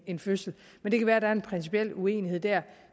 en fødsel men det kan være der er en principiel uenighed der